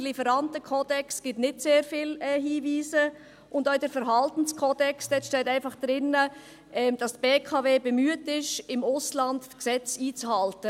Der Lieferantenkodex gibt nicht sehr viele Hinweise und auch im Verhaltenskodex steht einfach drin, dass die BKW bemüht sei, im Ausland die Gesetze einzuhalten.